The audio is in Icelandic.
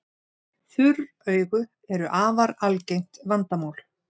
Þurr augu eru afar algengt vandamál.